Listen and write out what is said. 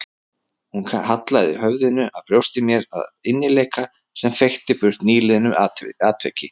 Hún hallaði höfðinu að brjósti mér af innileik sem feykti burt nýliðnu atviki.